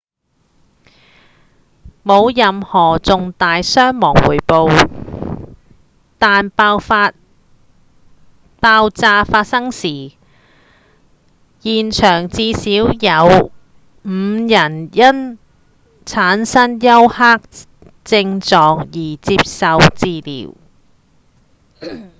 無任何重大傷亡匯報但爆炸發生時現場至少有五人因產生休克症狀而接受治療